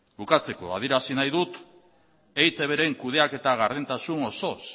bukatzeko adierazi nahi dut eitbren kudeaketa gardentasun osoz